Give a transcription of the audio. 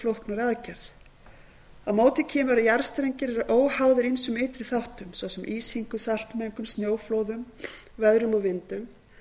flóknari aðgerð á móti kemur að jarðstrengir eru óháðir ýmsum ytri þáttum svo sem ísingu saltmengun snjóflóðum veðrum og vindum